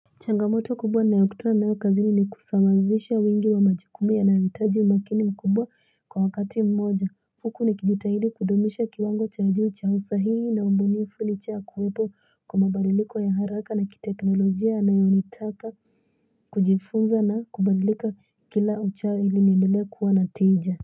Changamoto kubwa ninayokutana nayo kazini ni kusawazisha wingi wa majukumu yanayohitaji umakini mkubwa kwa wakati mmoja huku nikijitahidi kudumisha kiwango cha juu cha usahihi na ubunifu licha ya kuwepo kwa mabadiliko ya haraka na kiteknolojia yanayonitaka kujifunza na kubadilika kila uchao ili niendele kuwa na tija.